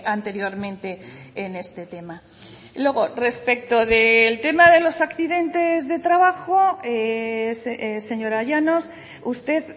anteriormente en este tema luego respecto del tema de los accidentes de trabajo señora llanos usted